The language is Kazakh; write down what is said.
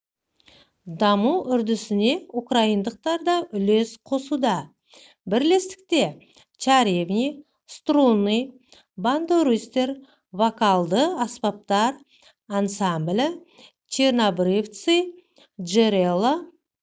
даму үрдісіне украиндықтар да үлес қосуда бірлестікте чаривни струны бандуристер вокалды аспаптар ансамбілі чернобрывци джэрэло